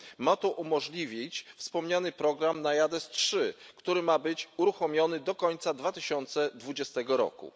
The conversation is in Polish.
Ma to umożliwić wspomniany program NAIADES III, który ma być uruchomiony do końca 2020 roku.